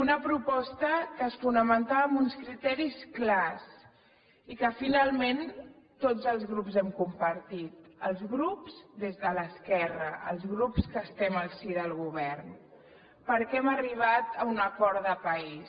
una proposta que es fonamentava en uns criteris clars i que finalment tots els grups hem compartit els grups des de l’esquerra els grups que estem al si del govern perquè hem arribat a un acord de país